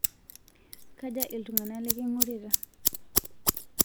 Kaja ltung'ana liking'urita?